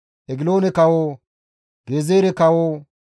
Egiloone kawo, Gezeere kawo,